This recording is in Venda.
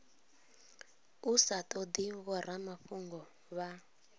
u sa todi vhoramafhungo vha